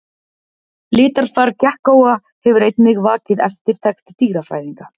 Litarfar gekkóa hefur einnig vakið eftirtekt dýrafræðinga.